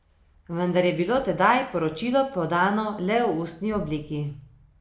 Vendar je bilo tedaj poročilo podano le v ustni obliki.